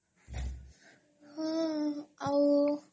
ହଁ ଆଉ